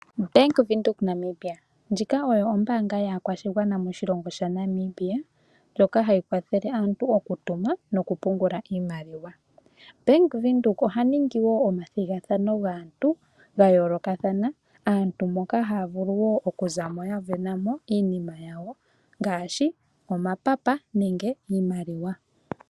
Bank Windhoek Namibia ndjika oyo ombaanga yaakwashigwana moshilongo shaNamibia ndjoka hayi kwathele aantu okutuma noku pungula iimaliwa. Bank Windhoek oha ningi wo omathigathano gaantu gayolokathana aantu moka havulu woo okuzamo ayavenamo iinima yawo ngaashi omapapa nenge iimaliwa.